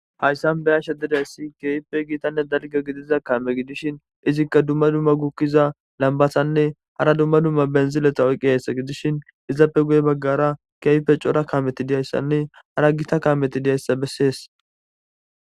hayssan beyashe dizayssi ke'ippe giitanne dalgga gidiza kaame gidishshin izikka dumma dumma gukkiza lambatanne hara dumma dumma biniziletta oyqqidayssa gidishin izappe guye baggara ke'hippe cora kaameti diyayssanne hara gita kaameti diyayssa bessees